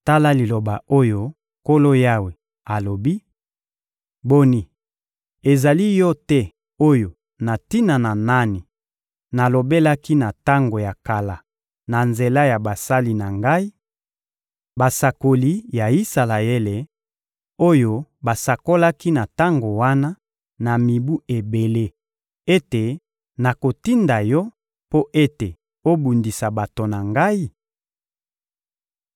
Tala liloba oyo Nkolo Yawe alobi: Boni, ezali yo te oyo na tina na nani nalobelaki na tango ya kala na nzela ya basali na Ngai, basakoli ya Isalaele, oyo basakolaki na tango wana, na mibu ebele, ete nakotinda yo mpo ete obundisa bato na Ngai?